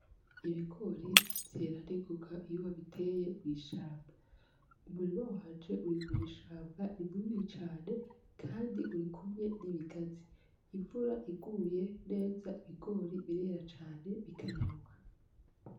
Ibigori vyera ningoga iyo babiteye mw'ishamba. Umurima wanje uri mw'ishamba, ni munini cane, kandi uri kumwe n'ibigazi. Imvura iguye neza ibigori birera cane bikanyaruka.